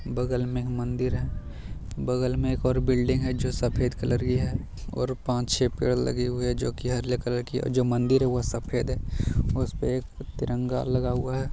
बगल में मंदिर है बगल में एक और बिल्डिंग है जो सफ़ेद कलर की है और पांच छह पेड़ लगे हुए जो की हरिया कलर की जो मंदिर है वो सफ़ेद है उपसे एक तिरंगा लगा हुआ है।